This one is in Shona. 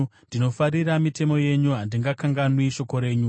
Ndinofarira mitemo yenyu; handingakanganwi shoko renyu.